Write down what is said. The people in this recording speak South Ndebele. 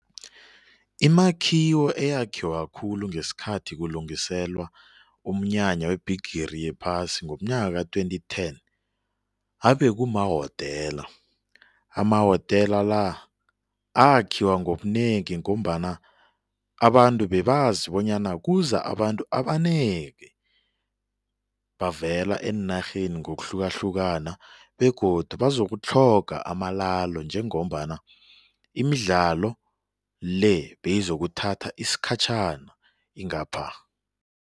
Imakhiwo eyakhiwa khulu ngesikhathi kulungiselwa umnyanya webhigiri yephasi ngomnyaka ka-twenty ten abe kumahotela, amahotela la akhiwa ngobunengi ngombana abantu bebazi bonyana kuza abantu abanengi bavela eenarheni ngokuhlukahlukana begodu bazokutlhola amalalo njengombana imidlalo le beyizokuthatha isikhatjhana ingapha.